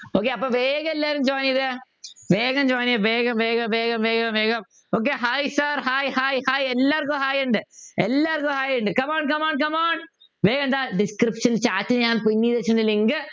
okay അപ്പൊ വേഗം എല്ലാരും join ചെയ്തേ വേഗം join ചെയ്യ് വേഗം വേഗം വേഗം വേഗം വേഗം Okay hi sir hi hi hi hi എല്ലാർക്കും hi ഉണ്ട് എല്ലാർക്കും hi ഉണ്ട് come on come on come on വേഗം ദാ Description chat ൽ ഞാൻ Pin ചെയ്തു വച്ചിട്ടുണ്ട് link